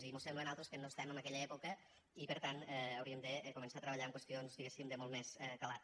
i mos sembla a nosaltres que no estem en aquella època i per tant hauríem de començar a treballar en qüestions diguéssim de molt més calat